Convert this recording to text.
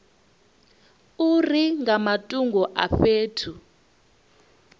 uri nga matungo a fhethu